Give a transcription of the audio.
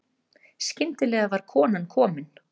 Skyndilega var konan komin.